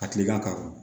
A kilenna k'a wolo